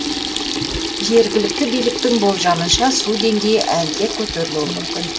жергілікті биліктің болжамынша су деңгейі әлі де көтерілуі мүмкін